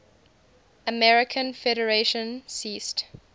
american federation ceased